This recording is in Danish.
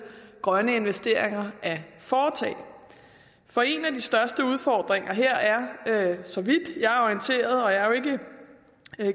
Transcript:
grønne investeringer at foretage for en af de største udfordringer her er så vidt jeg er orienteret og jeg er jo ikke